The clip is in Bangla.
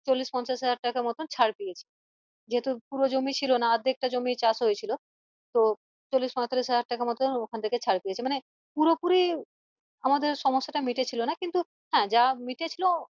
চল্লিশ পঁয়তাল্লিশ হাজার টাকার মত ছাড় পেয়েছি আহ যেহেতু পুরো জমি ছিল না অর্ধেক টা জমি চাষ হয়েছিল আহ তো চল্লিশ পঁয়তাল্লিশ হাজার টাকার মতো ওখান থেকে ছাড় পেয়েছি মানে পুরোপুরি আমাদের সমস্যা টা মিটেছিলো না কিন্তু হ্যাঁ যা মিটেছিলো